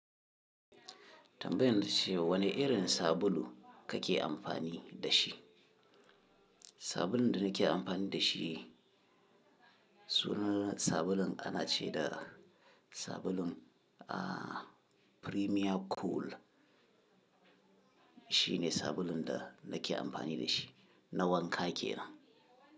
Tambayan ta ce wane irin sabulu kake amfani da shi? Sabulun da nake amfani da shi sunan sabulun ana ce da sabulun, ah, Premier Cool. Shi ne sabulun da nake amfani da shi na wanka kenan.